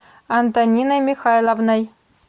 антониной михайловной